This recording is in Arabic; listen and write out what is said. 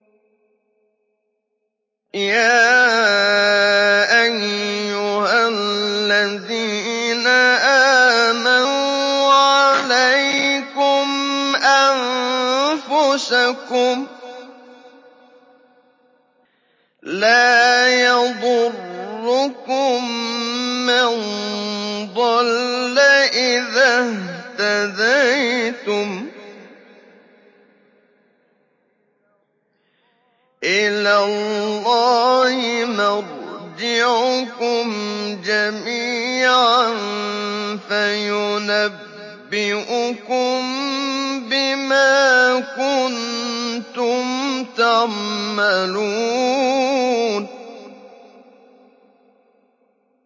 يَا أَيُّهَا الَّذِينَ آمَنُوا عَلَيْكُمْ أَنفُسَكُمْ ۖ لَا يَضُرُّكُم مَّن ضَلَّ إِذَا اهْتَدَيْتُمْ ۚ إِلَى اللَّهِ مَرْجِعُكُمْ جَمِيعًا فَيُنَبِّئُكُم بِمَا كُنتُمْ تَعْمَلُونَ